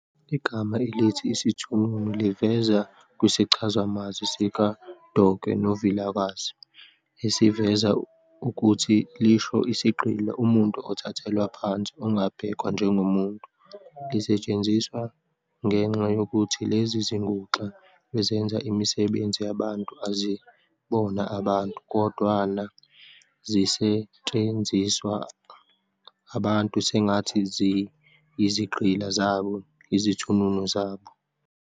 Igama lesiZulu elithi "isithununu" livela kwisichazamazwi sika-Doke noVilakazi, esiveza ukuthi lisho 'isigqila, umuntu othathelwa phansi, ongabhekwa njengomuntu'. Lisetshenziswa ngenxa yokuthi lezi zinguxa ezenza imisebenzi yabantu, azibona abantu, kodwana zisetshenziswa abantu sengathi ziyizigqila zabo, izithununu zabo.